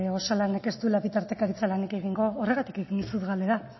osalanek ez duela bitartekaritza lanik egingo horregatik egin dizut galdera